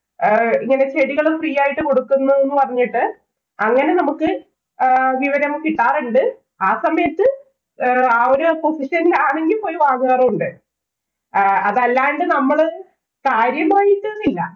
ആഹ് ഇങ്ങനെ ചെടികള് free ആയിട്ട് കൊടുക്കുന്നൂന്ന് പറഞ്ഞിട്ട് അങ്ങനെ നമുക്ക് ആഹ് വിവരം കിട്ടാറുണ്ട്. ആ സമയത്ത് ആ ഒരു association ഇല്‍ ആണെങ്കില്‍ പോയി വാങ്ങാറുണ്ട്. അതല്ലാണ്ട് നമ്മള് കാര്യമായിട്ടൊന്നുമില്ല.